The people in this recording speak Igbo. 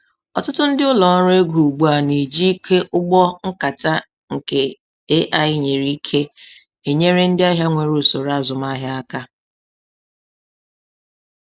Ọtụtụ ndị ụlọ ọrụ ego ugbu a na-ejị ike ụgbọ nkata nke AI-nyere ike enyere ndị ahịa nwere usoro azumahịa aka